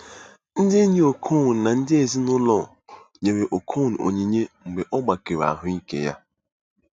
Ndị enyi Okon na ndị ezi na ụlọ nyere Okon onyinye mgbe ọ gbakere ahụike ya.